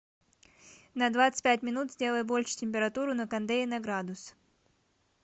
на двадцать пять минут сделай больше температуру на кондее на градус